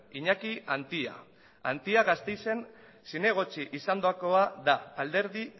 iñaki antia antia gasteizen zinegotzi izandakoa da alderdi